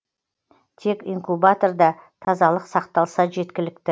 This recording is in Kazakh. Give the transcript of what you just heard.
тек инкубаторда тазалық сақталса жеткілікті